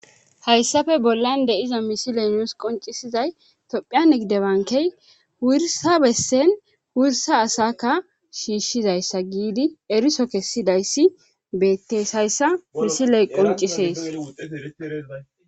Hayssafe bollan de'iza misiley nuus qoncisizay tophphiyan nigide bankey wursa bessen wursa asakka shiishshizayssa giidi eriso kessidayssi bettees hayssa misiley qoncisees